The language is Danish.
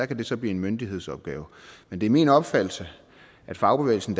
kan det så blive en myndighedsopgave men det er min opfattelse at fagbevægelsen